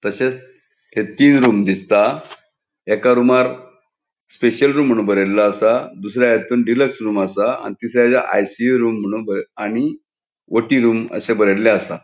तसेच हे तीन रूम दिसता एका रूमार स्पेशल रूम म्हुणू बरेल्लो आसा दूसरे हितुन डीलक्स रूम आसा तीसर्याचे आंतून आय_सी_यू म्हुणू आणि ओ_टी रूम अशे बरेल्ले आसा.